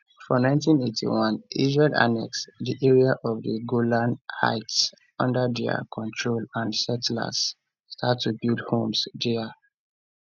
for 1981 israel annex di area of di golan heights under dia control and settlers start to build homes dia